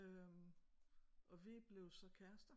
Øh og vi blev så kærester